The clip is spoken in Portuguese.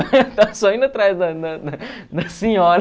só indo atrás da da da da senhora.